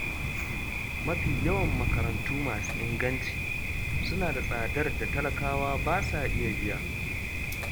Mafi yawan makarantu masu inganci suna da tsadar da talakawa ba sa iya biya.